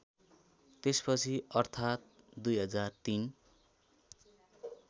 त्यसपछि अर्थात् २००३